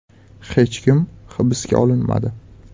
Hech kim hibsga olinmadi.